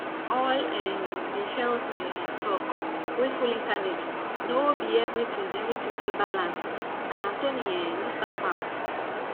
all um the health um talk wey full internet no be everything everything dey balanced and anthony um no stamp am